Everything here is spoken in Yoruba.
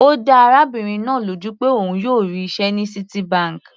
Ó dá arábìnrin náà lójú pé òun yóò rí iṣẹ́ ní Citibank.